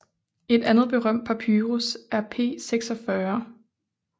Et andet berømt papyrus er P46